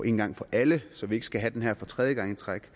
en gang for alle så vi ikke skal have det her for tredje gang i træk